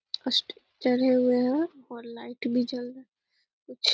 और लाइट भी जल रहा है कुछ --